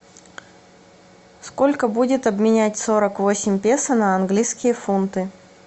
сколько будет обменять сорок восемь песо на английские фунты